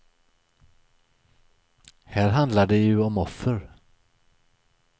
Här handlar det ju om offer.